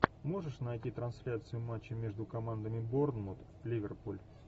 можешь найти трансляцию матча между командами борнмут ливерпуль